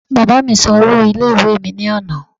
Bàbáa mí san owó ilé ìwé mi ní àná